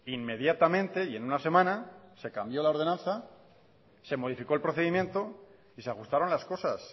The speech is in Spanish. inmediatamente y en una semana se cambió la ordenanza se modificó el procedimiento y se ajustaron las cosas